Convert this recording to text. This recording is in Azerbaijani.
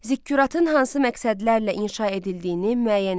Zikkuratın hansı məqsədlərlə inşa edildiyini müəyyən eləyin.